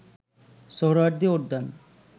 সোহরাওয়ার্দী উদ্যান